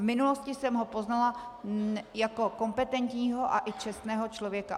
V minulosti jsem ho poznala jako kompetentního a i čestného člověka.